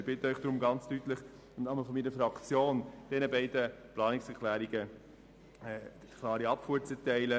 Ich bitte Sie deshalb sehr klar im Namen meiner Fraktion, diesen beiden Anträgen eine deutliche Abfuhr zu erteilen.